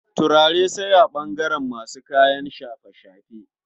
Turare sai a ɓangaren masu kayan shafe-shafe.